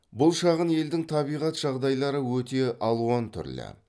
бұл шағын елдің табиғат жағдайлары өте алуан түрлі